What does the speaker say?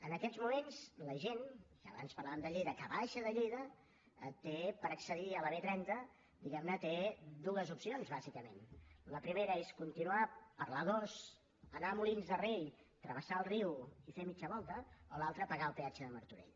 en aquests moments la gent i abans parlàvem de lleida que baixa de lleida té per accedir a la b trenta diguem ne dues opcions bàsicament la primera és continuar per l’a dos anar a molins de rei travessar el riu i fer mitja volta o l’altra pagar el peatge de martorell